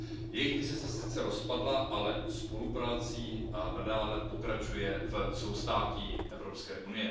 Jejich vize se sice rozpadla, ale spoluprací i nadále pokračuje v soustátí EU.